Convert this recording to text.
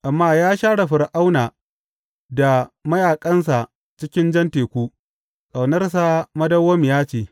Amma ya share Fir’auna da mayaƙansa cikin Jan Teku; Ƙaunarsa madawwamiya ce.